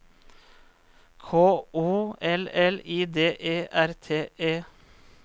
K O L L I D E R T E